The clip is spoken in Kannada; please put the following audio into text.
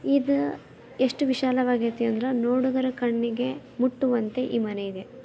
ಇದು ಎಷ್ಟು ವಿಶಾಲ ಆಗೇತಿ ಅಂದ್ರ ನೋಡುಗರ ಕಣ್ಣಿಗೆ ಮುಟ್ಟುವಂತೆ ಈ ಮನೆಗೆ.